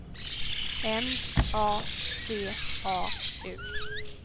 M A C A U